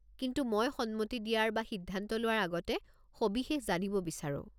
কিন্তু মই সন্মতি দিয়াৰ বা সিদ্ধান্ত লোৱাৰ আগতে সবিশেষ জানিব বিচাৰো।